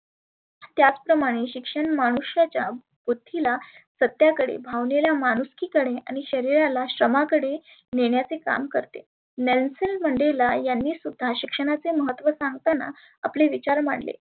त्याच प्रमाणे शिक्षण मनुष्याच्या बुद्धीला सत्याकडे भावनेला माणुसकी कडे आणि शरिराला क्षमा कडे नेन्याच्ये काम करते. नेल्सेन मंडेला यांनी सुद्धा शिक्षणाचे महत्त्व सांगताना आपले विचार मांडले.